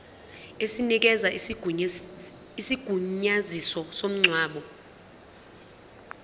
esinikeza isigunyaziso somngcwabo